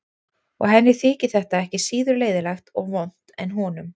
Og henni þyki þetta ekki síður leiðinlegt og vont en honum.